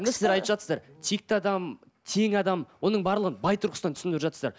сіздер айтап жатырсыздар текті адам тең адам оның барлығын бай тұрғысынан түсіндіріп жатырсыздар